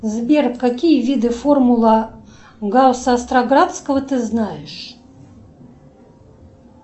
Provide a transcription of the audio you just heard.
сбер какие виды формула гаусса остроградского ты знаешь